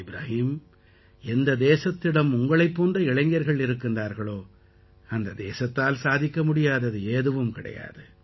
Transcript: இப்ராஹிம் எந்த தேசத்திடம் உங்களைப் போன்ற இளைஞர்கள் இருக்கின்றார்களோ அந்த தேசத்தால் சாதிக்க முடியாதது எதுவும் கிடையாது